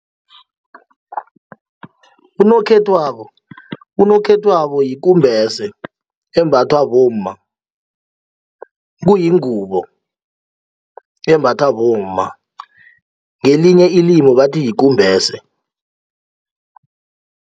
Unokhethwako, unokhethwako yikumbese embathwa bomma, kuyingubo embathwa bomma ngelinye ilimu bathi yikumbese.